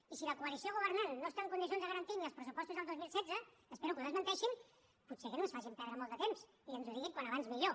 i si la coalició governant no està en condicions de garantir ni els pressupostos del dos mil setze espero que ho desmenteixin potser que no ens facin perdre molt de temps i que ens ho diguin com més aviat millor